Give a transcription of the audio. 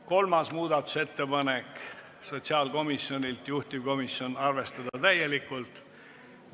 Kolmas muudatusettepanek on sotsiaalkomisjonilt, juhtivkomisjon on arvestanud täielikult.